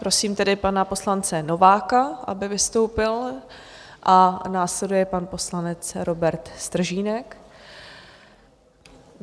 Prosím tedy pana poslance Nováka, aby vystoupil, a následuje pan poslanec Robert Stržínek.